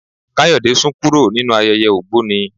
Kayode sún kúrò nínú ayẹyẹ ògbóni.